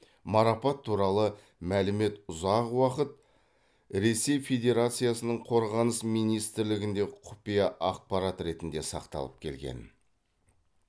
марапат туралы мәлімет ұзақ уақыт ресей федерациясының қорғаныс министрлігінде құпия ақпарат ретінде сақталып келген